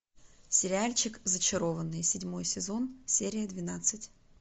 сериальчик зачарованные седьмой сезон серия двенадцать